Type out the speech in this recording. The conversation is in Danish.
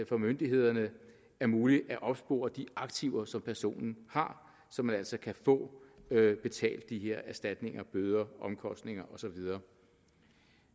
for myndighederne er muligt at opspore de aktiver som personen har så man altså kan få betalt de her erstatninger bøder omkostninger og så videre